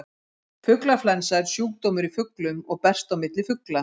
Fuglaflensa er sjúkdómur í fuglum og berst á milli fugla.